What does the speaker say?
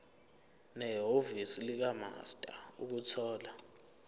nehhovisi likamaster ukuthola